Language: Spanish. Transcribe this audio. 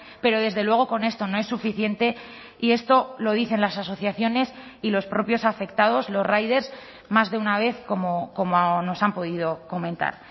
pero desde luego con esto no es suficiente y esto lo dicen las asociaciones y los propios afectados los riders más de una vez como nos han podido comentar